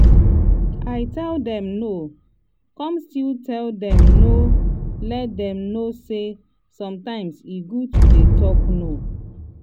i tell dem no come still let dem know let dem know say sometimes e good to dey talk no.